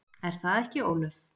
Er það ekki Ólöf?